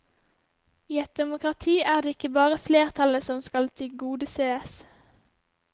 I et demokrati er det ikke bare flertallet som skal tilgodesees.